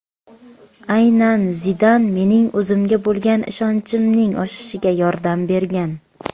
Aynan Zidan mening o‘zimga bo‘lgan ishonchimning oshishiga yordam bergan”.